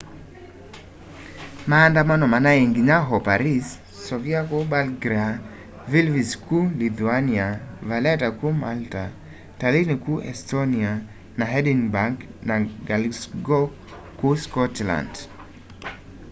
maandamano manai nginya o paris sofia kuu bulgaria vilnius kuu lithuania valetta kuu malta tallinn kuu estonia na edinburgh na glasgow kuu scotland